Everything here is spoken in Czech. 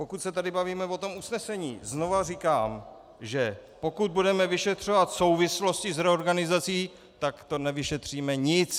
Pokud se tady bavíme o tom usnesení, znova říkám, že pokud budeme vyšetřovat souvislosti s reorganizací, tak to nevyšetříme nic.